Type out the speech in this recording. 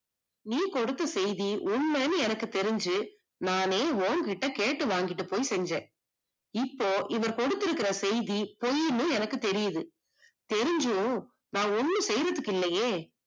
நீ கொடுத்த செய்தி உண்மைனு எனக்கு தெரிஞ்சு நானே உன்கிட்ட கேட்டு வாங்கிட்டு போய் செஞ்சே, இப்போ இவர் கொடுத்திருக்குற செய்தி பொய்னு என்னக்கு தெரியுது. தெரிஞ்சும் நான் ஒன்னும் செய்யுறதுக்கு இல்லையே